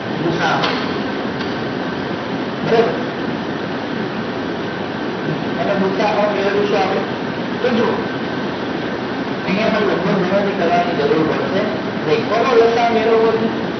ગુસા અ બરોબર હમ એનો ગુ સા અ મેળવી શું આપડે તો જુઓ અહિયાં પણ લગભગ ગણતરી કરવા ની જરૂર પડે નહિ કોને લસા અ મેળવવો જોઈએ